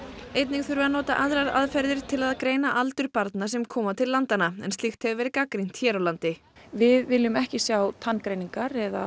einnig þurfi að nota aðrar aðferðir til að greina aldur barna sem koma til landanna en slíkt hefur verið gagnrýnt hér á landi við viljum ekki sjá tanngreiningar eða